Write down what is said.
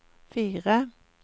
fire